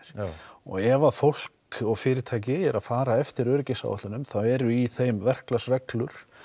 og ef að fólk og fyrirtæki eru að fara eftir öryggisáætlunum þá eru í þeim verklagsreglur